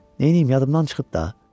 Neyləyim, yadımdan çıxıb da.